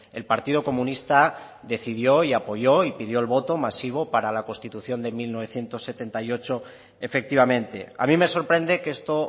el partido comunista decidió y apoyó y pidió el voto masivo para la constitución de mil novecientos setenta y ocho efectivamente a mí me sorprende que esto